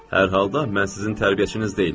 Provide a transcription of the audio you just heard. Hər halda mən sizin tərbiyəçiniz deyiləm.